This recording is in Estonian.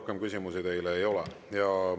Rohkem küsimusi teile ei ole.